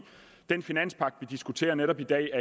den finanspagt vi diskuterer netop i dag